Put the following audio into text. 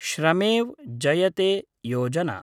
Shramev Jayate Yojana